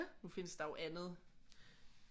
Nu findes der jo andet